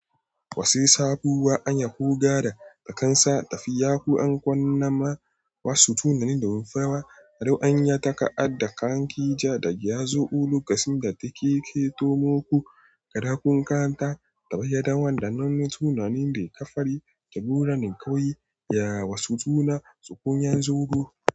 Wasu sabuwa anyi huga da takansa tafiya ko an kwana ma wasu tunani da rumfawa. Haru anyi taka ad da kan kija da giazu. Ulu kasinga take ketomoku. Gadakun kanta tabaiyadan wanda nan tunanin da ka fari. Kebura nin kawu yi ya wasu tuna tsukunyan zugu.